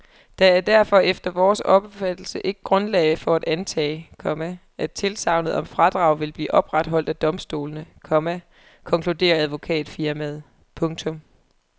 Der er derfor efter vores opfattelse ikke grundlag for at antage, komma at tilsagnet om fradrag vil blive opretholdt af domstolene, komma konkluderer advokatfirmaet. punktum